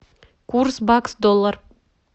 курс бакс доллар